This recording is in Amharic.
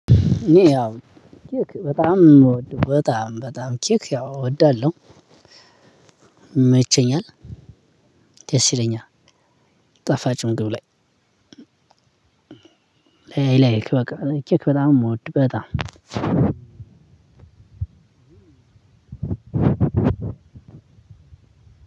እኔ ያው ኬክ በጣም የምወደው በጣም በጣም ኬክ ያው እወዳለው። ይመቸኛል። ደስ ይለኛል። ጣፋጭ ምግብ ላይ። ላይ በቃ ኬክ በጣም የምወድ በጣም